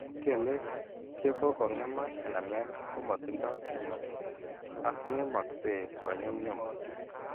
Kelek che ko kong'emak enamel ko matindo kimnatet ak ng'emakse kony'umny'um .